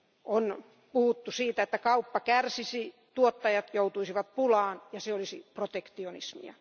On puhuttu siitä, että kauppa kärsisi, tuottajat joutuisivat pulaan ja se olisi protektionismia.